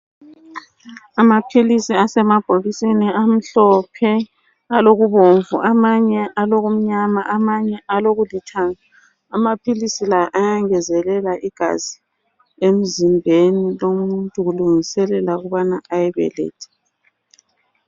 Amaphilisi asemabhokisini amhlophe alokubomvu amanye alokumnyama amanye alokulithanga amaphilisi la ayangezelela igazi emzimbeni womuntu kulungiselelwa ukubana ayebeletha.